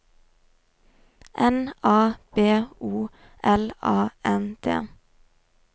N A B O L A N D